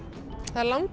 það er